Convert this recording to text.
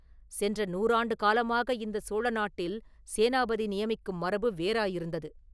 சென்ற நூறாண்டு காலமாக இந்த சோழ நாட்டில் சேனாபதி நியமிக்கும் மரபு வேறாயிருந்தது.